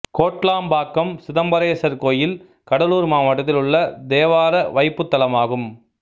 கோட்லாம்பாக்கம் சிதம்பரேசர் கோயில் கடலூர் மாவட்டத்தில் உள்ள தேவார வைப்புத்தலமாகும்